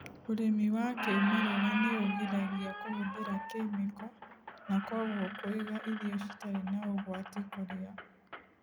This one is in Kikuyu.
Ũrĩmi wa kĩmerera nĩ ũgiragia kũhũthĩra kemiko, na kwoguo kũiga irio citarĩ na ũgwati kũrĩa.